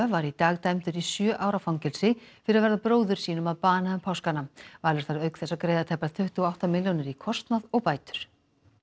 var í dag dæmdur í sjö ára fangelsi fyrir að verða bróður sínum að bana um páskana Valur þarf auk þess að greiða tæpar tuttugu og átta milljónir í kostnað og bætur